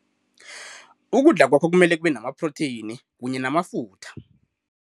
Ukudla kwakho kumele kube namaphrotheyini kanye namafutha.